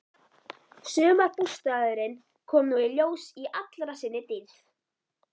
Sumarbústaðurinn kom nú í ljós í allri sinni dýrð.